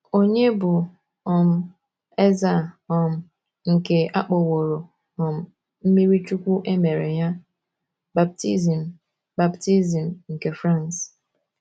Ònye bụ um eze a um nke a kpọworo um mmirichuwku e mere ya, baptizim baptizim nke France?